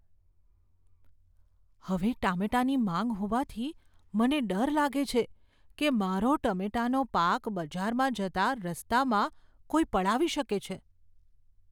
હવે ટામેટાંની માંગ હોવાથી, મને ડર લાગે છે કે મારો ટમેટાંનો પાક બજારમાં જતા રસ્તામાં કોઈ પડાવી શકે છે.